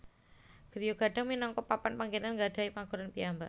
Griya Gadang minangka papan panggenan nggadhahi paugeran piyambak